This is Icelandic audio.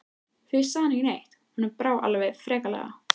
Fyrst sagði hann ekki neitt, honum brá alveg ferlega.